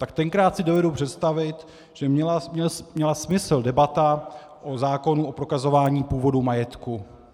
Tak tenkrát si dovedu představit, že měla smysl debata o zákonu o prokazování původu majetku.